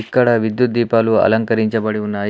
ఇక్కడ విద్యుత్ దీపాలు అలంకరించబడి ఉన్నాయి.